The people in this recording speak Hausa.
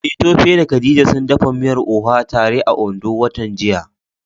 Eh Tope da Khadija sun dafa miyar Oha tare a Ondo watan jiya.